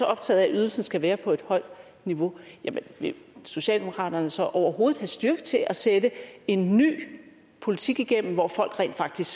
optaget af at ydelsen skal være på et højt niveau jamen vil socialdemokratiet så overhovedet have styrken til at sætte en ny politik igennem hvor folk rent faktisk